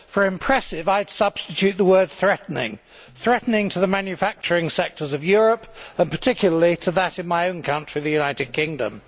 For impressive' I would substitute the word threatening' threatening to the manufacturing sectors of Europe and particularly to that in my own country, the United Kingdom.